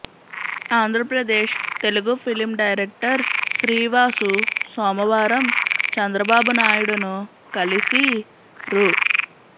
Andhra Pradesh Telugu film director Sri Vasu సోమవారం చంద్రబాబు నాయుడును కలిసి రూ